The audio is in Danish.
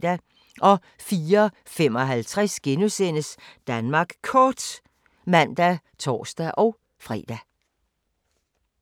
04:55: Danmark Kort *(man og tor-fre)